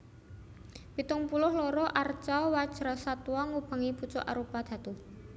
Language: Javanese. Pitung puluh loro arca Wajrasattwa ngubengi pucuk arupadhatu